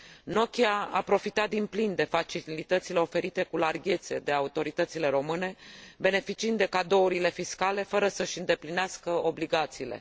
Nokia a profitat din plin de facilitățile oferite cu larghețe de autoritățile române, beneficiind de cadourile fiscale fără să și îndeplinească obligațiile.